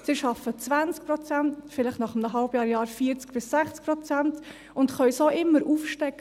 Sie arbeiten 20 Prozent, vielleicht nach einem halben Jahr 40–60 Prozent, und können so immer aufstocken.